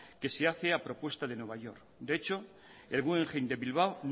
que se hace a propuesta de nueva york de hecho el guggenheim de bilbao